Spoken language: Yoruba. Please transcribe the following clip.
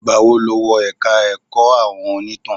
Ìgbà wo ló wọ ẹ̀ka ẹ̀kọ́ àwọn onítàn?